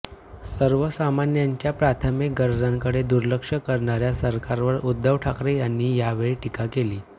सर्वसामान्यांच्या प्राथमिक गरजांकडे दुर्लक्ष करणाऱया सरकारवर उद्धव ठाकरे यांनी यावेळी टीका केली